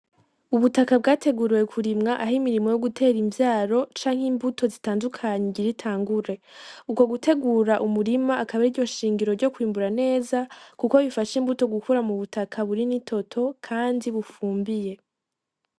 Ubutaka bwateguriwe kurimwa aho imirimo yo gutera imvyaro canke imbuto zitandukanye igira itangure ukwo gutegura umurima akaba ariryo shingiro ryo kwimbura neza kuko bifasha imbuto gukura mu butaka buri nitoto kandi bufumbiye.